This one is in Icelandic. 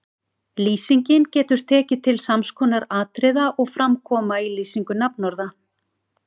Lýsingin getur tekið til sams konar atriða og fram koma í lýsingu nafnorða